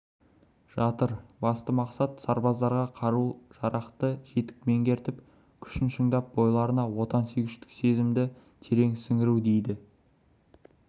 жатыр басты мақсат сарбаздарға қару-жарақты жетік меңгертіп күшін шыңдап бойларына отансүйгіштік сезімді терең сіңіру дейді